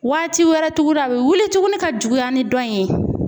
Waati wɛrɛ tugura a bɛ wuli tugunni ka juguya ni dɔ in ye